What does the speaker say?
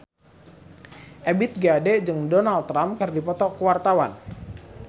Ebith G. Ade jeung Donald Trump keur dipoto ku wartawan